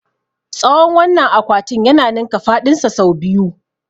Tsawon wannan akwatin ya ninka faɗinsa sau biyu.